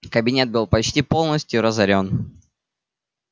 кабинет был почти полностью разорён